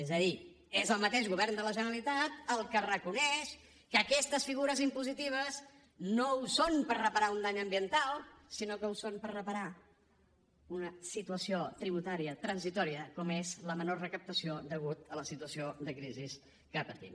és a dir és el mateix govern de la generalitat el que reconeix que aquestes figures impositives no són per reparar un dany ambiental sinó que són per reparar una situació tributària transitòria com és la menor recaptació a causa de la situació de crisi que patim